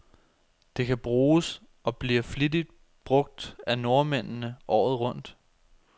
Det kan bruges, og bliver flittigt brug af nordmændene, året rundt.